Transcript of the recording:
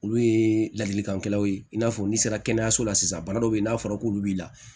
Olu ye ladilikanw ye i n'a fɔ n'i sera kɛnɛyaso la sisan bana dɔw bɛ yen n'a fɔra k'olu b'i la